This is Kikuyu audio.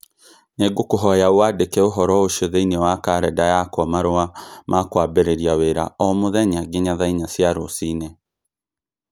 nĩ ngũkũhoya ũcandĩke ũhoro ũcio thĩinĩ wa kalendari yakwa marũa ma kwambĩrĩria wĩra o mũthenya nginya thaa inya cia rũciinĩ.